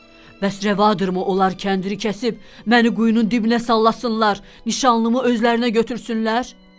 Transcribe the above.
Bəs rəvadırmı onlar kəndiri kəsib məni quyunun dibinə sallansınlar, nişanlımı özlərinə götürsünlər?